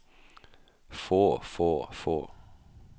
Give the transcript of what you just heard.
få få få